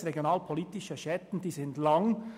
Ich weiss, «regionalpolitische Schatten» sind lang.